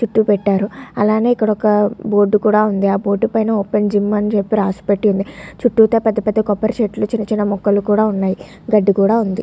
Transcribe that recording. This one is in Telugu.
చుట్టూ పెట్టారు. అలానే ఇక్కడ ఒక బోర్డు కూడా ఉంది. ఆ బోర్డు మీద ఓపెన్ జిమ్ రాసిపెట్టి ఉంది. చుట్టూతా పెద్ద పెద్ద కొబ్బరి చెట్లు ఉన్నాయి. గడ్డి కూడా ఉంది .